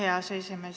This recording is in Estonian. Aitäh, hea aseesimees!